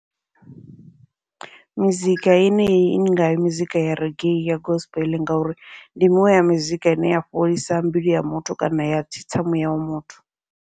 Mizika yeneyi i ngaho mizika ya reggae ya gospel, ngauri ndi miṅwe ya mizika ine ya fholisa mbilu ya muthu kana ya tsitsa muya wa muthu.